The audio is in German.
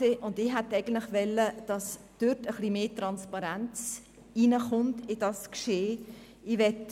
Ich hätte eigentlich gewollt, dass etwas mehr Transparenz in dieses Geschehen hineinkommt.